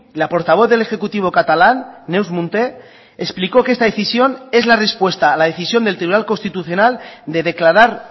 la portavoz del ejecutivo catalán neus munté explicó que esta decisión es la respuesta a la decisión del tribunal constitucional de declarar